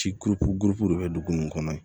Ci koloko gosi de be dugu nun kɔnɔ